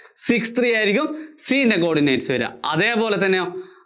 six three ആയിരിയ്ക്കും C യിന്‍റെ coordinates വര്വാ. അതേപോലെതന്നെയോ